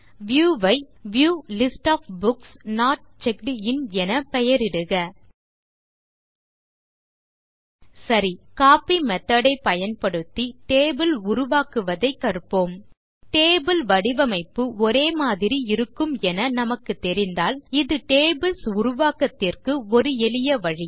view ஐ View list of books not checked in என பெயரிடுக சரி கோப்பி மெத்தோட் ஐ பயன்படுத்தி டேபிள் உருவாக்குவதைக் கற்போம் டேபிள் வடிவமைப்பு ஒரே மாதிரி இருக்கும் என நமக்கு தெரிந்தால் இது டேபிள்ஸ் உருவாக்கத்திற்கு ஒரு எளிய வழி